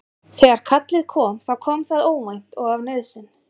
Þegar kallið kom þá kom það óvænt og af nauðsyn.